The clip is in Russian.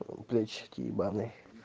блядь очки ебаные